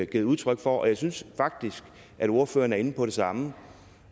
givet udtryk for og jeg synes faktisk at ordføreren er inde på det samme